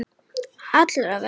Allra vegna.